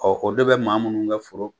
o de bɛ maa minnu kɛ foro.